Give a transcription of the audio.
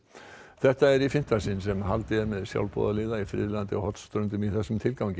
þetta er í fimmta sinn sem haldið er með sjálfboðaliða í friðlandið á Hornströndum í þessum tilgangi